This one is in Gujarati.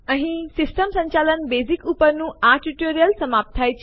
અહીં સિસ્ટમ સંચાલનના બેઝિક્સ ઉપર ના આ ટ્યુટોરીયલ સમાપ્ત થાય છે